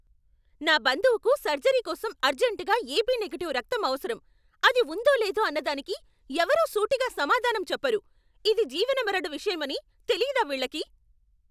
నా బంధువుకు సర్జరీ కోసం అర్జంటుగా ఏబీ నెగిటివ్ రక్తం అవసరం, అది ఉందో లేదో అన్నదానికి ఎవరు సూటిగా సమాధానం చెప్పరు! ఇది జీవనమరణ విషయం అని తెలియదా వీళ్ళకి!